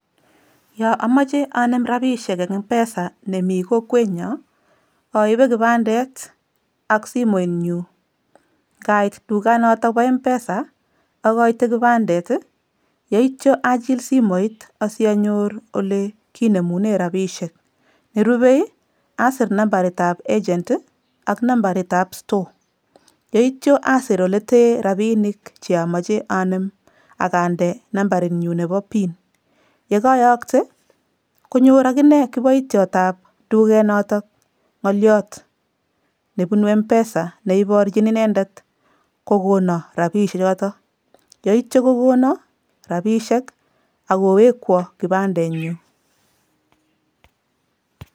Yo amoche anem rapiishek eng M-PESA nemi kokwenyo, aibe kipandet ak simoinyu. Nkait dukanoto po M-PESA, akoite kibandet, yeityo achil simoit asianyor olekinemune rapiishek. Nerubei, asir nambaritap agent ak nambaritap store yeityo asir ole tee rapiinik cheamoche anem akande nambarinyu nepo pin. Yekaayokte, konyor akine kiboitiotap dukenoto ng'oliot nepunu M-PESA neiporchin inendet kokono rapiichechoto yeityo kokono rapiishek akowekwo kipandenyu.